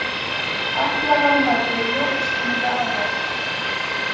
Aflaverðmæti jókst milli ára